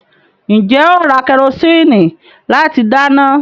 Ǹjẹ́ ó ra kẹrosíìnì láti dáná?